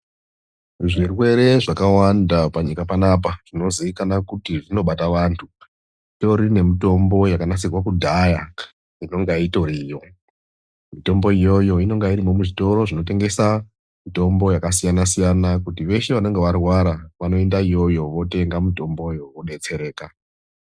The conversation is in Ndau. Zvirwere zvakawanda panyika panapa zvinoziikana kuti zvinobata vantu zvitorine mutombo yakanasirwa kudhaya inonga itoriyo. Mitombo iyoyo inonge irimo muzvitoro zvinotengesa mitombo yakasiyana siyana kuti veshe vanonge varwara vanoendayoyo votenga mitomboyo vodetsereka .